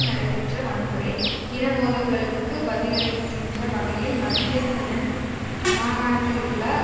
நடைபெற்ற வன்முறை இன மோதல்களுக்கு பதிலளிக்கின்ற வகையில் மத்திய ஹெனன் மாகாணத்திலுள்ள